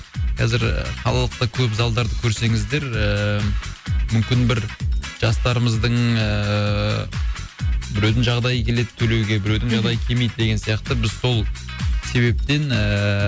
қазір қалалықта көп залдарды көрсеңіздер ііі мүмкін бір жастарымыздың ііі біреудің жағдайы келеді төлеуге біреудің жағдайы келмейді деген сияқты біз сол себептен ііі